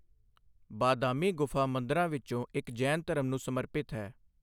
ਬਾਦਾਮੀ ਗੁਫਾ ਮੰਦਰਾਂ ਵਿੱਚੋਂ ਇੱਕ ਜੈਨ ਧਰਮ ਨੂੰ ਸਮਰਪਿਤ ਹੈ।